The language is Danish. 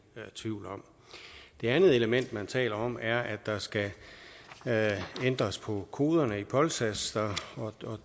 tvivl om det andet element man taler om er at der skal ændres på koderne i polsas